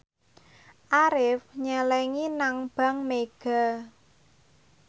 Arif nyelengi nang bank mega